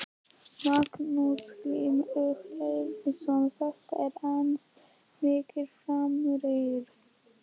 Magnús Hlynur Hreiðarsson: Þetta eru ansi miklir fjármunir?